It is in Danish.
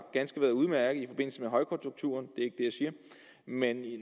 ganske udmærket i forbindelse med højkonjunkturen men